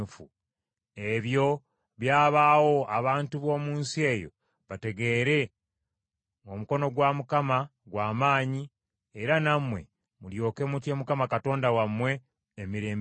Ebyo byabaawo abantu b’omu nsi yonna bategeere ng’omukono gwa Mukama gwa maanyi era nammwe mulyoke mutye Mukama Katonda wammwe emirembe gyonna.”